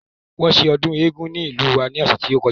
Wọ́n ṣe ọdún eégún ní ìlú wa ní ọ̀sẹ̀ tí ó kọjá